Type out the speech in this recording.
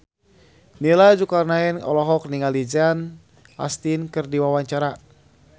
Nia Zulkarnaen olohok ningali Sean Astin keur diwawancara